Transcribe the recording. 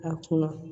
A kunna